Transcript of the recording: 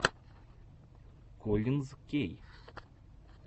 коллинз кей